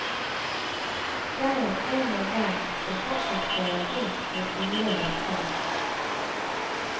Jeg er en av dem som fortsatt kjører rundt med gule lapper.